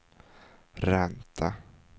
ränta